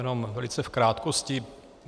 Jen velice v krátkosti.